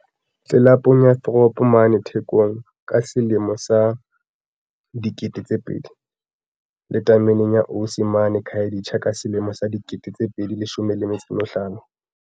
tlelapong ya Throb mane Thekong ka selemo sa 2000, le tameneng ya Osi mane Khayelitsha ka selemo sa 2015.